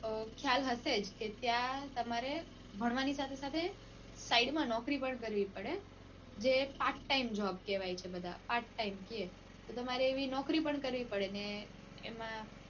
ખ્યાલ હશે જ કે ત્યાં તમારે ભણવાની સાથે સાથે સાઈડમાં નોકરી પણ કરવી પડે જે પ part time job કેવાય છે બધા પાર્ટ ટાઈમ કે તો તમારે એવી નોકરી પણ કરવી પડે ને એમાં